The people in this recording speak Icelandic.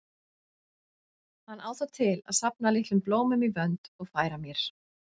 Hann á það til að safna litlum blómum í vönd og færa mér.